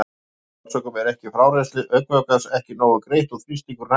Af óþekktum orsökum er frárennsli augnvökvans ekki nógu greitt og þrýstingurinn hækkar.